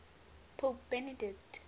pope benedict